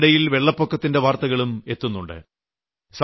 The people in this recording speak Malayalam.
ഇതിനിടയിൽ വെള്ളപ്പൊക്കത്തിന്റെ വാർത്തകളും എത്തുന്നുണ്ട്